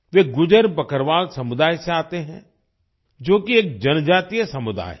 वे गुज्जर बकरवाल समुदाय से आते हैं जो कि एक जनजातीय समुदाय है